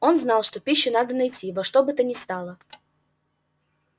он знал что пищу надо найти во что бы то ни стало